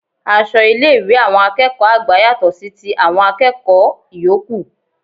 Aṣọ ilé ìwé àwọn akẹ́kọ̀ọ́ àgbà yàtò sí ti àwọn akẹ́kọ̀ọ ìyókù